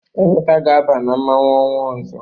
Emeka ga-aba na mmọnwụ ọnwa ọzọ.